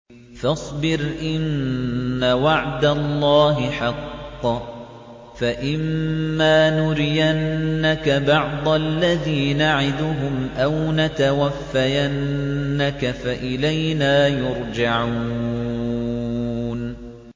فَاصْبِرْ إِنَّ وَعْدَ اللَّهِ حَقٌّ ۚ فَإِمَّا نُرِيَنَّكَ بَعْضَ الَّذِي نَعِدُهُمْ أَوْ نَتَوَفَّيَنَّكَ فَإِلَيْنَا يُرْجَعُونَ